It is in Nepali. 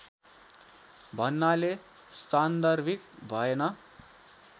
भन्नाले सान्दर्भिक भएन